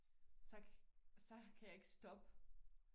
Så så kan jeg ikke stop